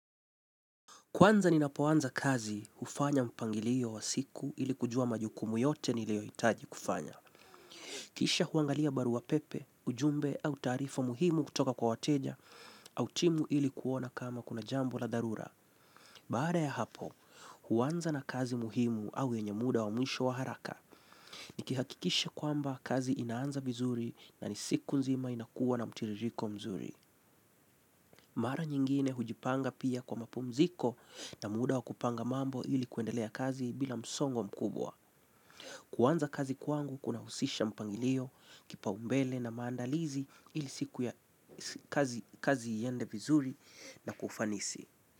Kwanza ninapoanza kazi, hufanya mpangilio wa siku ili kujua majukumu yote niliyohitaji kufanya. Kisha huangalia barua pepe, ujumbe au taarifa muhimu kutoka kwa wateja au timu ili kuona kama kuna jambo la dharura. Baada ya hapo, huanza na kazi muhimu au yenye muda wa mwisho wa haraka. Nikihakikisha kwamba kazi inaanza vizuri na ni siku nzima inakuwa na mtiririko mzuri. Mara nyingine hujipanga pia kwa mapumziko na muda wa kupanga mambo ili kuendelea kazi bila msongo mkubwa. Kuanza kazi kwangu kuna husisha mpangilio kipaumbele na maandalizi ili siku ya kazi iende vizuri na kufanisi.